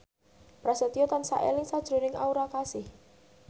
Prasetyo tansah eling sakjroning Aura Kasih